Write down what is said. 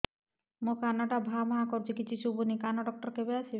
ମୋ କାନ ଟା ଭାଁ ଭାଁ କରୁଛି କିଛି ଶୁଭୁନି କାନ ଡକ୍ଟର କେବେ ଆସିବେ